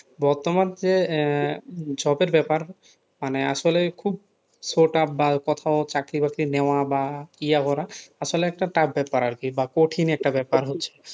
বর্তমান যে job এর ব্যাপার মানে আসলে খুব বা কোথাও চাকরি-বাকরি নেওয়া বা করা আসলে একটা tuff ব্যাপার আর কি বা কঠিন একটা ব্যাপার হচ্ছে,